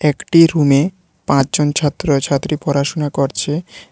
একটি রুমে পাঁচজন ছাত্র-ছাত্রী পড়াশুনা করছে।